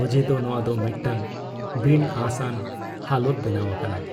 ᱚᱡᱮ ᱫᱚ ᱱᱚᱶᱟ ᱫᱚ ᱢᱤᱫᱴᱟᱝ ᱵᱤᱱᱼᱟᱥᱟᱱ ᱦᱟᱞᱚᱛ ᱵᱮᱱᱟᱣ ᱟᱠᱟᱱᱟ ᱾